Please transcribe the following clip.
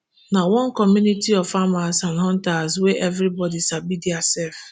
na one community of farmers and hunters wey evri body sabi dia sef